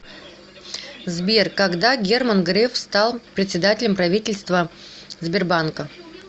сбер когда герман греф стал председателем правительства сбербанка